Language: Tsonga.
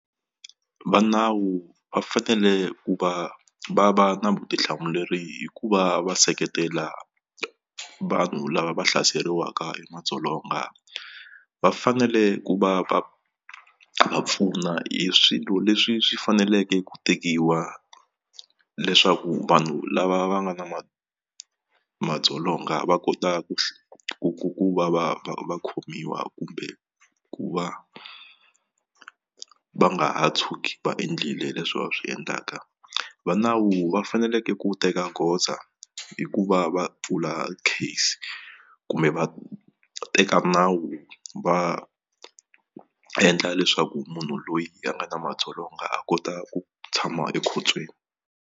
Va nawu va fanele ku va va va na vutihlamuleri hi ku va va seketela vanhu lava va hlaseriwaka hi madzolonga va fanele ku va va va pfuna hi swilo leswi swi faneleke ku tekiwa leswaku vanhu lava va nga na madzolonga va kota ku ku ku va va va khomiwa kumbe ku va va nga ha tshuki va endlile leswi va swi endlaka va nawu va faneleke ku teka goza hi ku va va pfula case kumbe va teka nawu va endla leswaku munhu loyi a nga na madzolonga a kota ku tshama ekhotsweni.